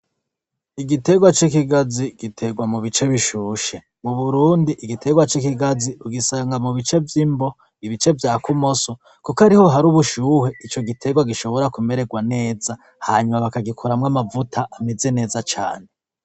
Igitegwa c'ikigazi gitegwa mu bice bishushe, mu Burundi igitegwa c'ikigazi ugisanga mu bice vy'imbo, ibice vya kumoso kuko ariho hari ubushuhe ico gitegwa gishobora kumererwa neza, hanyuma bakagikoramwo amavuta ameze neza cane.